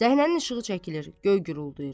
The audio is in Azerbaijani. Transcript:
Səhnənin işığı çəkilir, göy guruldayır.